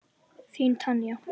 Þín Tanya.